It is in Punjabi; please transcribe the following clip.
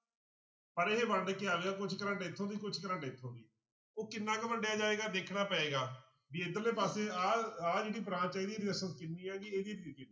ਪਰ ਇਹ ਵੰਡ ਕੇ ਆ ਗਿਆ ਕੁਛ ਕਰੰਟ ਇੱਥੋਂ ਦੀ ਕੁਛ ਕਰੰਟ ਇੱਥੋਂ ਦੀ, ਉਹ ਕਿੰਨਾ ਕੁ ਵੰਡਿਆ ਜਾਏਗਾ ਦੇਖਣਾ ਪਏਗਾ, ਵੀ ਇੱਧਰਲੇ ਪਾਸੇ ਆਹ ਆਹ ਜਿਹੜੀ ਇਹਦੀ resistance ਕਿੰਨੀ ਹੈਗੀ ਇਹਦੀ ਕਿੰਨੀ।